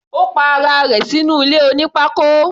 Ó pa ara rẹ̀ sínú ilé oní pákó.